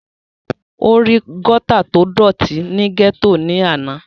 ó rí gọ́tà tó dọ̀tí ní gẹ́tò ní àná